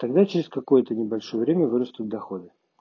тогда через какое-то небольшое время вырастут доходы